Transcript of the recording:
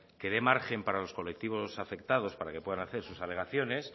que den margen para los colectivos afectados para que puedan hacer sus alegaciones